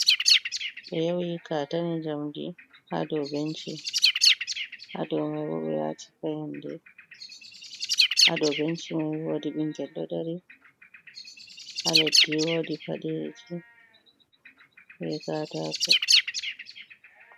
Ɓe yawi katane jamɗi ha ɗow ɓenci. Ha ɗow mai bo payanɗe, ha ɗow ɓenci mai woɗi ɓingel ɗo dari, ha leɗɗi woɗi paɗeji ɓe katako.